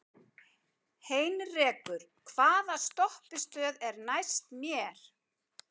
Heinrekur, hvaða stoppistöð er næst mér?